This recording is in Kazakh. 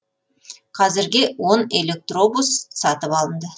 қазірге он электробус сатып алынды